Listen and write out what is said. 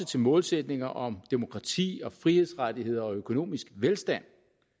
til målsætninger om demokrati frihedsrettigheder og økonomisk velstand